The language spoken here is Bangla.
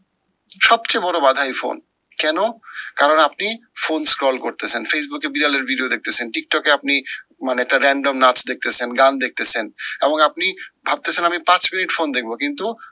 সব চেয়ে বড় বাধা এই ফোন। কেন? কারণ আপনি, ফোন scroll করতেসেন facebook এ বিড়ালের video দেখতেসেন tiktok এ আপনি মানে একটা random নাচ দেখতেসেন গান দেখতেসেন। এবং আপনি ভাবতেসেন আমি পাঁচ মিনিট ফোন দেখবো কিন্তু,